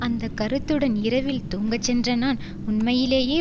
அந்த கருத்துடன் இரவில் தூங்கச் சென்ற நான் உண்மையிலேயே